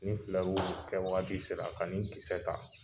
Ni filɛru kɛ wagati sera ani kisɛ ta